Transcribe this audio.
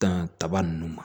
Dan kaba nunnu ma